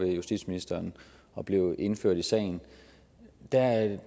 justitsministeren og blev indført i sagen